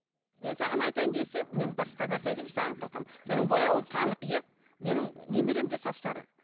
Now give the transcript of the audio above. мен саған айтайын десем мен басқа нәрсе айтайыншы саған қалқам сенің бояуың қанық иә менің немерем де сап сары